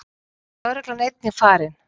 Þá er lögreglan einnig farin